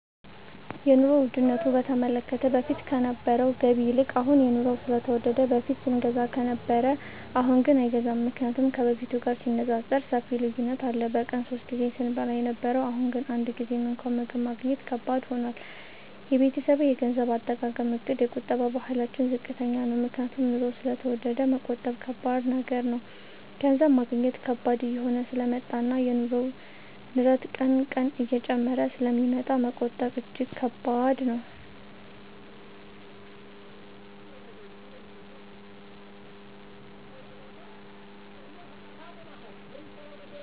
የኑሮ ዉድነቱ በተመለከተ በፊት ከነበረዉ ገቢ ይልቅ አሁን የኑሮዉ ስለተወደደ በፊት ስንገዛ ከነበረ አሁንግን አይገዛም ምክንያቱም ከበፊቱ ጋር ሲነፃፀር ሰፊ ልዩነት አለ በቀን ሶስት ጊዜ ስንበላ የነበረዉ አሁን ግን አንድ ጊዜም እንኳን ምግብ ማግኘት ከባድ ሆኗል የቤተሰቤ የገንዘብ አጠቃቀምእቅድ የቁጠባ ባህላችን ዝቅተኛ ነዉ ምክንያቱም ኑሮዉ ስለተወደደ መቆጠብ ከባድ ነገር ነዉ ገንዘብ ማግኘት ከባድ እየሆነ ስለመጣእና የኑሮዉ ንረት ቀን ቀን እየጨመረ ስለሚመጣ መቆጠብ እጂግ ከባድ ነዉ